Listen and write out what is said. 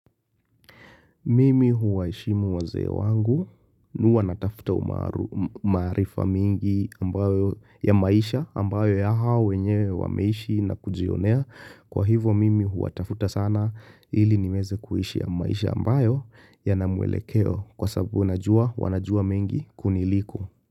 Mimi huwaheshimu wazee wangu huwa natafuta maarifa mingi ambayo ya maisha ambayo ya hao wenyewe wameishi na kujionea kwa hivyo mimi huwatafuta sana ili niweze kuishi maisha ambayo yana mwelekeo kwa sababu wanajua mingi kuniliko.